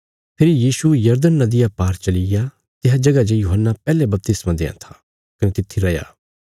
फेरी यीशु यरदन नदिया पार चलिग्या तिसा जगह जे यूहन्ना पैहले बपतिस्मा देआं था कने तित्थी रैया